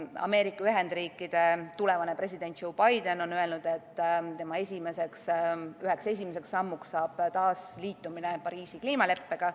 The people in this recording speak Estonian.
Ameerika Ühendriikide tulevane president Joe Biden on öelnud, et tema üheks esimeseks sammuks saab taasliitumine Pariisi kliimaleppega.